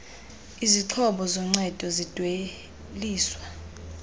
izixhobo zoncedo zidweliswa